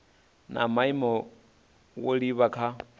na maimo zwo livha kha